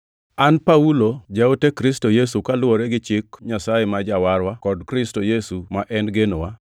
An Paulo jaote Kristo Yesu kaluwore gi Chik Nyasaye ma Jawarwa, kod Kristo Yesu, ma en genowa,